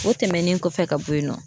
O tɛmɛnen kɔfɛ ka bɔ yen nɔ